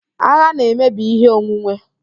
Agha na-emebi ihe onwunwe